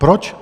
Proč?